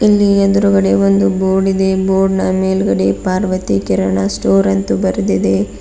ಇಲ್ಲಿ ಎದ್ರುಗಡೆ ಒಂದು ಬೋರ್ಡ್ ಇದೆ ಬೋರ್ಡ್ ನ ಮೇಲ್ಗಡೆ ಪಾರ್ವತಿ ಕೀರಾಣ ಸ್ಟೋರ್ ಎಂದು ಬರೆದಿದೆ.